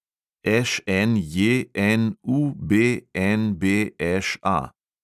ŠNJNUBNBŠA